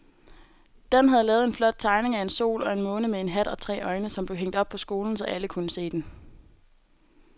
Dan havde lavet en flot tegning af en sol og en måne med hat og tre øjne, som blev hængt op i skolen, så alle kunne se den.